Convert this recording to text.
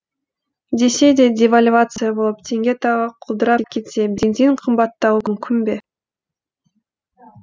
десе де девальвация болып теңге тағы құлдырап кетсе бензин қымбаттауы мүмкін бе